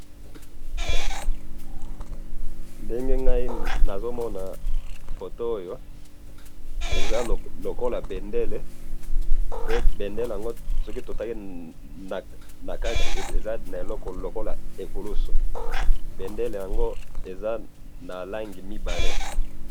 nazomona photo oyo lokola bendele, bendele oyo eza na eloko lokola ekulusu. bendele yango eza na langi mibale.